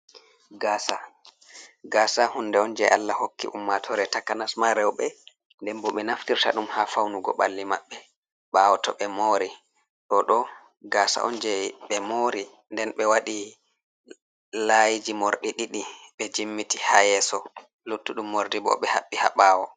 Gaasa, gaasa huunde on jey Allah hokki ummaatoore takanas ma rewɓe, nden bo ɓe naftirta ɗum ha fawnugo ɓalli maɓɓe, ɓaawo to ɓe moori. Ɗoo ɗoo, gasa on jey ɓe moori nden ɓe waɗi laayiiji moorɗi ɗiɗi ɓe jimmbiti ha yeeso, luttuɗum moorɗi bo ɓe haɓɓi ha ɓaawo.